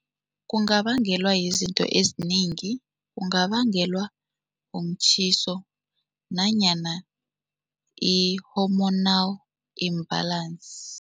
Kungabangelwa yizinto ezinengi. Kungabangelwa umtjhiso nanyana i-hormonal imbalance.